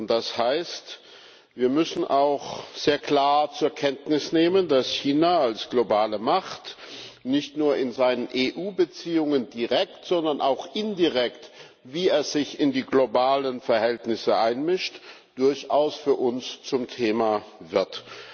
Das heißt Wir müssen auch sehr klar zur Kenntnis nehmen, dass China als globale Macht nicht nur in seinen EU Beziehungen direkt, sondern auch indirekt wie es sich in die globalen Verhältnisse einmischt durchaus für uns zum Thema wird.